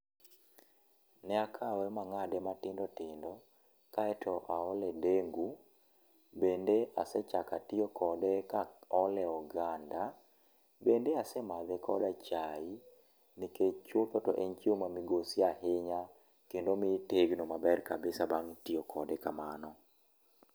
Ne akawe ma ang'ade matindo tindo, kaeto aole dengu. Bende ase chako atiyo kode maole oganda. Bende ase madhe koda chai nikech chutho to en chiemo ma migosi ahinya kendo miyo itegno kendo omiyo itegno maber kabisa bang' tiyo kode kamano.